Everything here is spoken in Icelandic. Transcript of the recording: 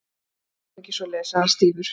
Við gerum ekki svoleiðis- sagði hann stífur.